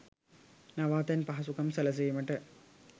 නවාතැන් පහසුකම් සැලසීමට